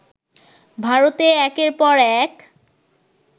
ভারতে একের পর এক